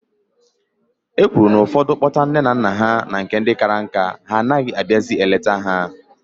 E kwuru na ụfọdụ kpọta nne na nna ha na nke ndị kara nka, ha anaghị abịazị eleta ha.